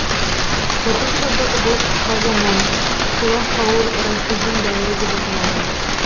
отыз жылдық бұл қысқа заман хулафаур рашидин дәуірі деп аталады